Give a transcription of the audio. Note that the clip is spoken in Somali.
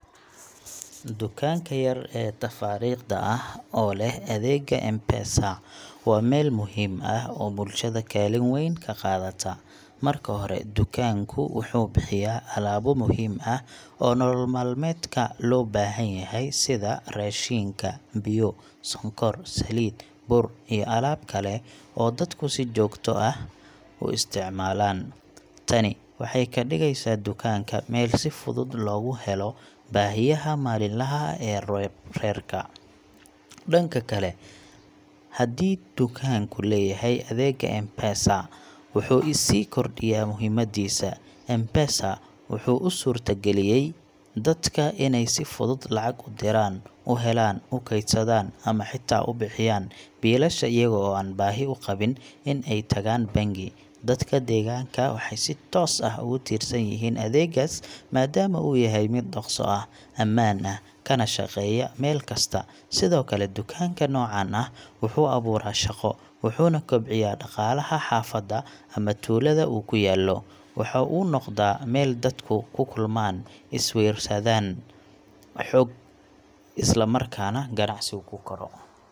Dukaanka yar ee tafaariiqda ah oo leh adeegga M-Pesa waa meel muhiim ah oo bulshada kaalin weyn ka qaadata. Marka hore, dukaanku wuxuu bixiyaa alaabo muhiim ah oo nolol maalmeedka loo baahan yahay sida raashinka, biyo, sonkor, saliid, bur iyo alaab kale oo dadku si joogto ah u isticmaalaan. Tani waxay ka dhigeysaa dukaanka meel si fudud loogu helo baahiyaha maalinlaha ah ee reerka. Dhanka kale, haddii dukaanku leeyahay adeegga M-Pesa, wuxuu sii kordhiyaa muhiimaddiisa. M-Pesa wuxuu u suurta galiyay dadka inay si fudud lacag u diraan, u helaan, u kaydsadaan ama xitaa u bixiyaan biilasha iyaga oo aan baahi u qabin in ay tagaan bangi. Dadka deegaanka waxay si toos ah ugu tiirsan yihiin adeeggaas maadaama uu yahay mid dhaqso ah, ammaan ah, kana shaqeeya meel kasta. Sidoo kale, dukaanka noocan ah wuxuu abuuraa shaqo, wuxuuna kobciyaa dhaqaalaha xaafadda ama tuulada uu ku yaallo. Waxa uu noqdaa meel dadku ku kulmaan, is-weydaarsadaan xog, isla markaana ganacsigu ku koro.